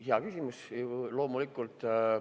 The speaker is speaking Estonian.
Hea küsimus, loomulikult.